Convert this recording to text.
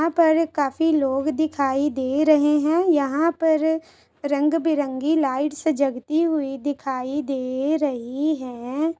यहाँ पर काफी लोग दिखाई दे रहे हैं यहाँ पर रंग बिरंगी लाइट जगती हुई दिखाई दे रही है।